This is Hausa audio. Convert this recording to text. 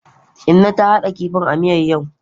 Inna ta hada kifin a miyar yau.